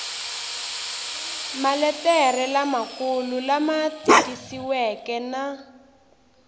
maletere lamakulu lama tikisiweke na